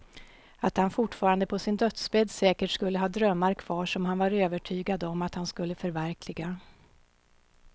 Att han fortfarande på sin dödsbädd säkert skulle ha drömmar kvar som han var övertygad om att han skulle förverkliga.